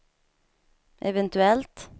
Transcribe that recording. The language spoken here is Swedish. eventuellt